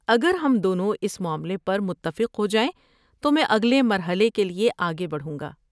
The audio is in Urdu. اگر ہم دونوں اس معاملے پر متفق ہو جائیں تو میں اگلے مرحلے کے لیے آگے بڑھوں گا۔